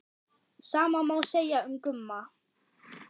Sama má segja um Gumma.